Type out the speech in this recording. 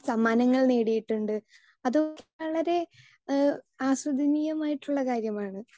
Speaker 2 സമ്മാനങ്ങൾ നേടിയിട്ടുണ്ട് അത് വളരെ ആസ്വദനീയം ആയിട്ടുള്ള കാര്യമാണ്.